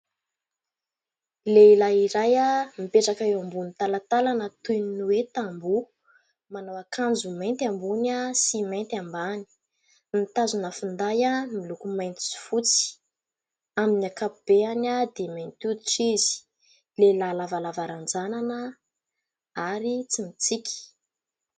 Lehilahy iray a mipetraka eo ambonin'ny talatalana toin ' ny hoe tamboho ,manao akanjo mainty ambony a sy mainty ambany mitazona finday a miloko mainty sy fotsy ;amin'ny ankapobeany a dia mainty hoditra izy . Lehilahy lavalava ranjanana ary tsy mintsiky .